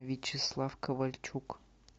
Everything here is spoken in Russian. вячеслав ковальчук